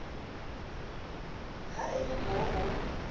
ha e le mo o